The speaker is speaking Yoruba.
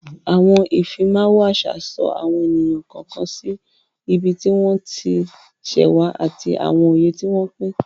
Àwọn Ìfimáwo àṣà so àwọn ènìyàn kọ̀ọ̀kan sí ibi tí wọ́n ti ṣẹ̀ wá ati àwọn ìyè tí wọ́n pín